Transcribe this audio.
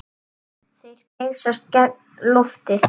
Þeir geysast gegnum loftið.